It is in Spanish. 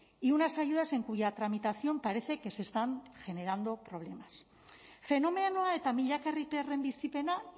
y unas ayudas en cuya tramitación parece que se están generando problemas fenomenoa eta milaka herritarren bizipena